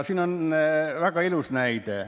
Siin on väga ilus näide.